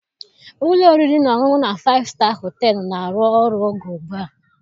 Ụlọ oriri na ọṅụṅụ na Faịfụ Staa Họtelụ na-arụ ọrụ ego ugbu a